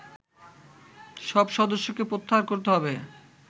সব সদস্যকে প্রত্যাহার করতে হবে